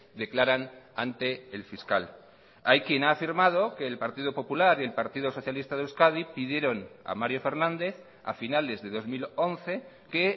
declaran ante el fiscal hay quien ha firmado que el partido popular y el partido socialista de euskadi pidieron a mario fernández a finales de dos mil once que